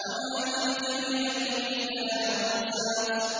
وَمَا تِلْكَ بِيَمِينِكَ يَا مُوسَىٰ